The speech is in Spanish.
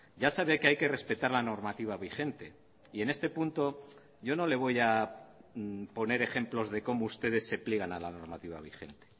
ya sabe que hay que respetar la normativa vigente y en este punto yo no le voy a poner ejemplos de cómo ustedes se pliegan a la normativa vigente